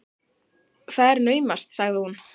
Það er naumast, sagði hún.